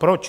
Proč?